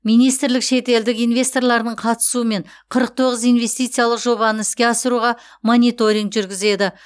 министрлік шетелдік инвесторлардың қатысуымен қырық тоғыз инвестициялық жобаны іске асыруға мониторинг жүргізеді